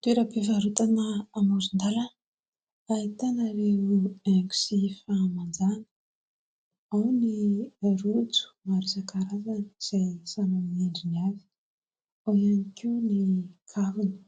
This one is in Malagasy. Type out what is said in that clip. Toeram-pivarotana amoron-dalàna ahitana ireo haingo sy fahamanjana. Ao ny rojo maro isankarazany izay samy amin'ny ny endriny avy. Ao ihany koa ny kavina,